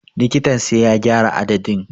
Likitan sai ya gyara adadin.